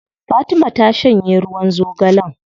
Fatima ta shanye ruwan zogalen.